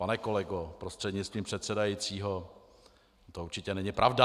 Pane kolego prostřednictvím předsedajícího, to určitě není pravda.